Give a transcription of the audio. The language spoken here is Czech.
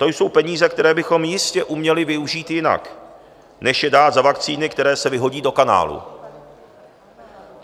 To jsou peníze, které bychom jistě uměli využít jinak než je dát za vakcíny, které se vyhodí do kanálu.